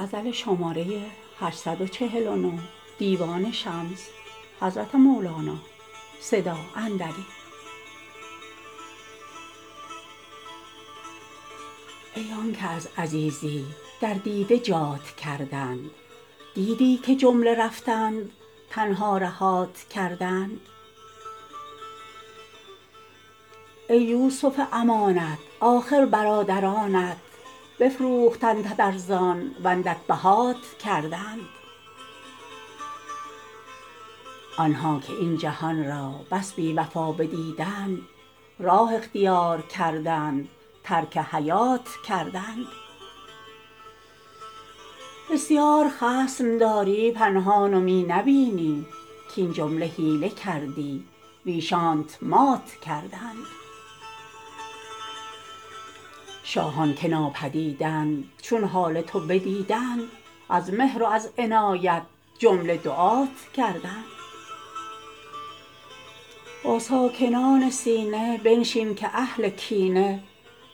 ای آن که از عزیزی در دیده جات کردند دیدی که جمله رفتند تنها رهات کردند ای یوسف امانت آخر برادرانت بفروختندت ارزان و اندک بهات کردند آن ها که این جهان را بس بی وفا بدیدند راه اختیار کردند ترک حیات کردند بسیار خصم داری پنهان و می نبینی کاین جمله حیله کردی ویشانت مات کردند شاهان که نابدیدند چون حال تو بدیدند از مهر و از عنایت جمله دعات کردند با ساکنان سینه بنشین که اهل کینه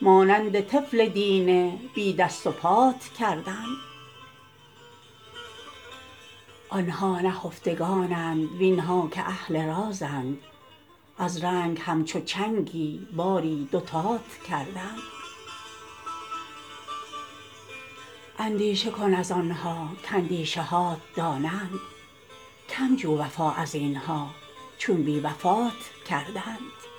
مانند طفل دینه بی دست و پات کردند آن ها نهفتگانند وین ها که اهل رازند از رنگ همچو چنگی باری دوتات کردند اندیشه کن از آن ها کاندیشه هات دانند کم جو وفا از این ها چون بی وفات کردند